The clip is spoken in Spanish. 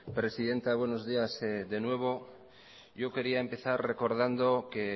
presidenta buenos días de nuevo yo quería empezar recordando que